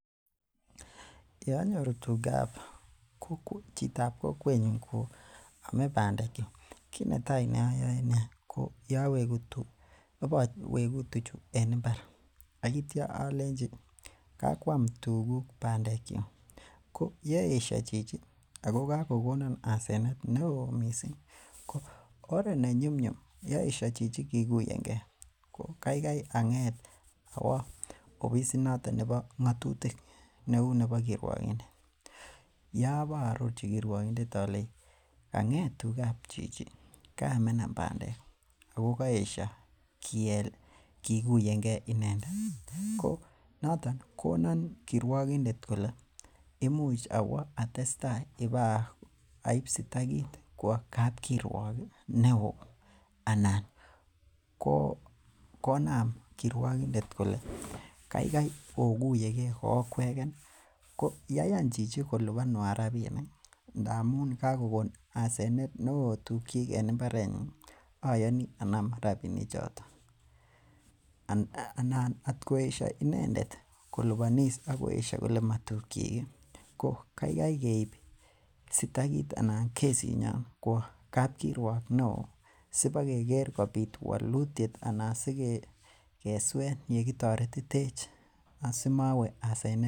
Yeanyoru tugab chitab kokwenyon koame bandek ih, kinetai neayoe ko ibawek tuchu en imbar. Aitia alenchi kakuam tuguk bandek. Ko yaesho chichi ako kakonan asenet neoo, oret nenyumnyum yaesha chichi kikuyen ge , ko kaigai ang'et awo ofis noton nebo ng'atutik ih neuu nebo kirwokindet yeabaa arorchi kirwakinded alenchi kang'et tugab chichi kaamena bandek ih ako kaesho kikuyege inendet noton konan kirwokindet kole kaikai iwee atestai aib sitakit kwo kapkirwok neo, anan konam kirwokindet kole kaikai oguyege kookwegen ih ko yaiyan kolubanan rabinik ih , amuun kagogon asenet neoo tuugkiyiken imarenyu Ih ayani Anam rabinik choton anan atkoesha inendet kolubanis atkoesha kole matukyik ih keib sitakit anan kesit nyon kwo kabkiruak neoo sipakeker kobit walutiet anan kesuen yekitoretitech asimawe asenet.